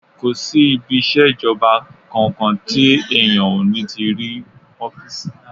Kò sí ibi iṣẹ́ ìjọba kankan tí èèyàn ò ní ti rí ọ́fìsì